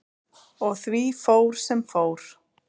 Og því fór sem fór.